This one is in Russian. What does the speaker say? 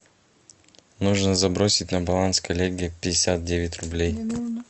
нужно забросить на баланс коллеги пятьдесят девять рублей